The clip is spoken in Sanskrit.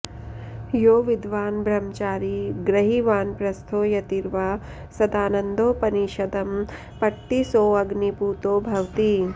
यो विद्वान् ब्रह्मचारी गृही वानप्रस्थो यतिर्वा सदानन्दोपनिषदं पठति सोऽग्निपूतो भवति